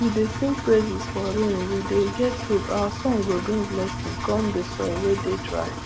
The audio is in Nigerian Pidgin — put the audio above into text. we dey sing praises for rainwe dey get hope our song go bring blessings com the soil wey dey dry